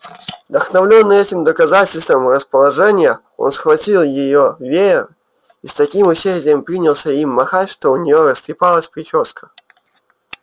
вдохновлённый этим доказательством расположения он схватил её веер и с таким усердием принялся им махать что у неё растрепалась причёска